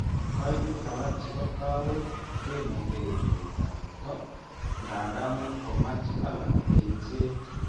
Kaimutik alak chebo kawaik kemuge chuletab borto, nga nda much komach alak eng'set.